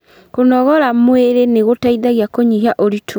Kũnogora mwĩrĩ nĩ gũteithagia kũnyihia ũritũ